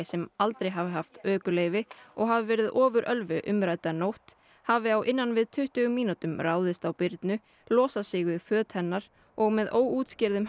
sem aldrei hafi haft ökuleyfi og hafi verið ofurölvi umrædda nótt hafi á innan við tuttugu mínútum ráðist á Birnu losað sig við föt hennar og með óútskýrðum